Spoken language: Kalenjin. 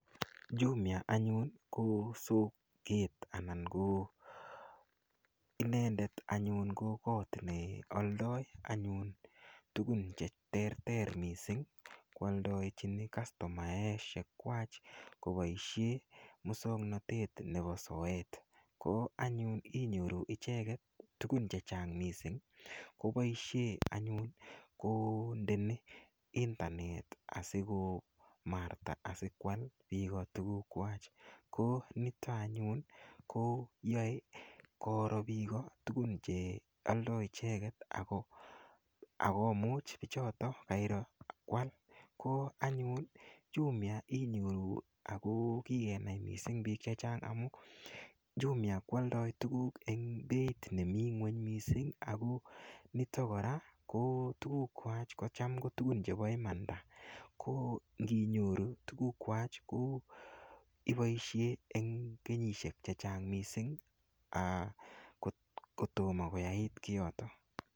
Jumia anyun kosoket anan ko inenden anyun ko kot nekyaldae anyun tugun cheterter mising sikwaldechin kastomaek kobaishen muswaknatet Nebo soet KO anyu inyoru icheket tugun chechang mising kobaishen anyun kondei intanet sikomarta sikwal bik kotuguk Kwak go niton anyun koyae korobini Igo tugun chyae icheket akomuch bichoton kwal ko anyunjumia inyoru akokikenai mising bik chechang amun Jumia kwaldae tuguk en Beit nemi ngweny mising agoi niton kora ko tuguk gwak kotam kotugun Cheba imanda konginyoru tuguk Kwak ko ibaishen en kenyniahek chechang mising kotomo koyait kiyoton